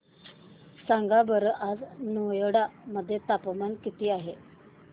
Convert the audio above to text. सांगा बरं आज नोएडा मध्ये तापमान किती आहे